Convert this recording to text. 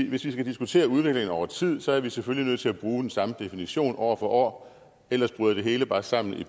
hvis vi skal diskutere udlændinge over tid er vi selvfølgelig nødt til at bruge den samme definition år for år ellers bryder det hele bare sammen i